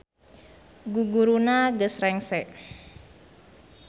Guguruna geus rengse